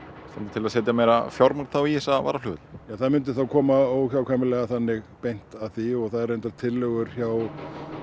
til að setja meira fjármagn í þessa varaflugvelli það myndi þá koma óhjákvæmilega þannig beint að því og það eru reyndar tillögur hjá